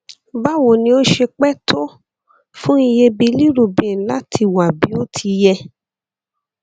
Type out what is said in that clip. báwo ni ó ṣe pẹ tó fún iye bilirubin láti wá bí ó ti yẹ